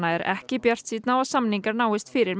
er ekki bjartsýnn á að samningar náist fyrir